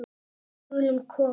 Við skulum koma